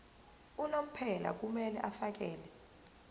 unomphela kumele afakele